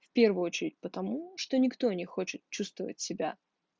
в первую очередь потому что никто не хочет чувствовать себя